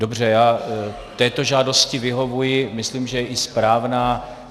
Dobře, já této žádosti vyhovuji, myslím, že je i správná.